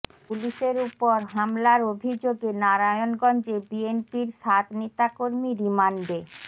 পুলিশের ওপর হামলার অভিযোগে নারায়ণগঞ্জে বিএনপির সাত নেতাকর্মী রিমান্ডে